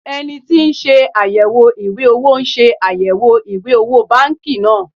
eniti ti nse ayewo iwe owo se ayewo iwe owo banki naa